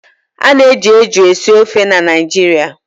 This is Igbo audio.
Ana eji eju esi ofe na Naịjirịa